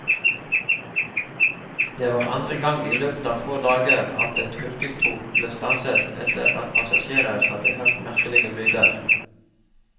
Det var andre gang i løpet av få dager at et hurtigtog ble stanset etter at passasjerer hadde hørt merkelige lyder.